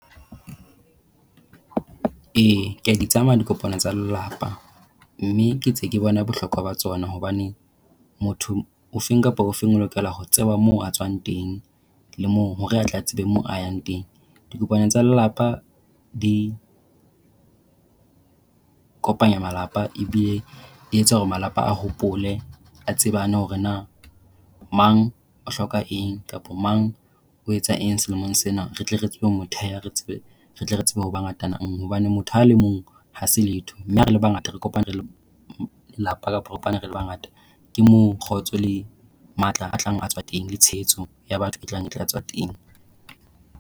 E, ke a di tsamaya dikopana tsa lelapa mme ke ntse ke bona bohlokwa ba tsona hobane motho o fe kapa o fe o lokela ho tseba moo a tswang teng, le mo hore a tle a tsebe mo a yang teng. Dikopana tsa lelapa di kopanya malapa e bile di etsa hore malapa a hopole a tsebane hore na mang o hloka eng kapa mang o etsang selemong sena. Re tle re tsebe ho , re tle re tsebe ho ba ngatananngwe. Hobane motho a le mong ha se letho. Mme ha re le bangata re kopane le lelapa, re le bangata. Ke moo kgotso le matla a tlang ho tswa teng, le tshehetso ya batho e tlang e tlatswa teng.